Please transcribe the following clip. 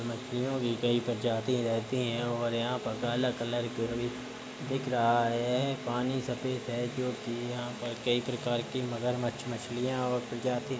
मछलियों की कई प्रजाति रहती हैं और यहाँ पर काला कलर कोई दिख रहा हैं। पानी सफ़ेद हैं जोकि यहाँ पर कई प्रकार की मगरमच्छ मछलियाॅं और प्रजाती --